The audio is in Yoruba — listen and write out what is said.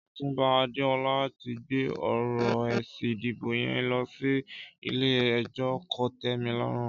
Ọtúnbá Adeola ti gbé ọrọ ésí idibó yèn lọsi ilé ẹjọ kótẹmilọrún